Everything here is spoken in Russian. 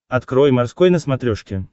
открой морской на смотрешке